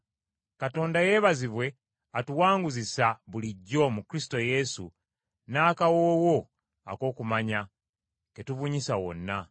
Katonda yeebazibwe atuwanguzisa bulijjo mu Kristo Yesu, n’akawoowo ak’okumanya, ke tubunyisa wonna.